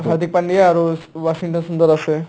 হাৰ্ডিক পাণ্ডিয়া আৰু ৱাশ্বিংটন সুন্দৰ আছে